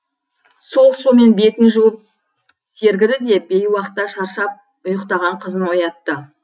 суық сумен бетін жуып сергіді де бейуақта шаршап ұйықтаған қызын оятты